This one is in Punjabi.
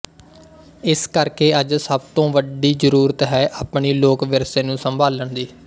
ਇਸ ਕਰਕੇ ਅੱਜ ਸਭ ਤੋਂ ਵੱਡੀ ਜ਼ਰੂਰਤ ਹੈ ਆਪਣੀ ਲੋਕ ਵਿਰਸੇ ਨੂੰ ਸੰਭਾਲਣ ਦੀ